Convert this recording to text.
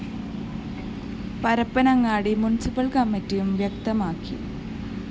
Parappanangadi municipal‍ കമ്മറ്റിയും വ്യക്തമാക്കി